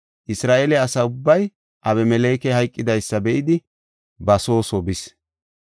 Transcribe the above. Isra7eele asa ubbay Abimelekey hayqidaysa be7idi ba soo soo bis.